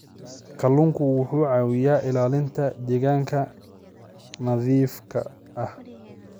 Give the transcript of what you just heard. Kalluunku wuxuu caawiyaa ilaalinta deegaanka nadiifka ah.